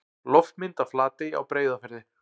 Loftmynd af Flatey á Breiðafirði.